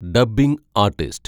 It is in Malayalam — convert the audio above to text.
dubbing artist